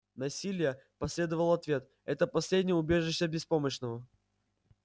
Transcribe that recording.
насилие последовал ответ это последнее убежище беспомощного